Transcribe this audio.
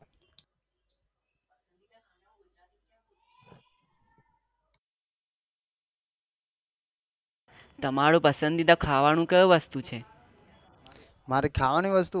તમારો પસન્દીદા ખાવા નું કયું વસ્તુ છે